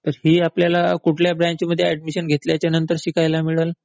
ही आपल्याला कुठल्या ब्रँच मध्ये ऍडमिशन घेतल्यावर शिकायला मिळल?